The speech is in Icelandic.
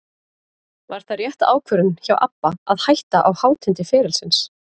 Var það rétt ákvörðun hjá ABBA að hætta á hátindi ferilsins?